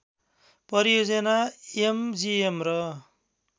परियोजना एमजिएम र